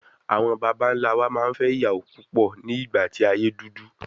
Àwọn bàbá ńlá wa máa ń fẹ́ ìyàwó púpọ̀ ní ìgbà tí ayé dúdú.